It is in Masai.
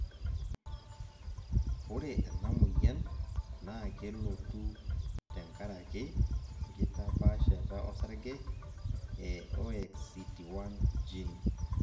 ore ena moyian naa kelotu te nkaraki enkitapaashata osarge e OXCT1 gene.